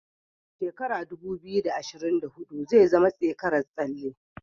Shekara dubu biyu, da ashirin da hudu zai zama tsekarar tsalle.